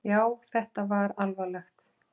Já, þetta var alvarlegt!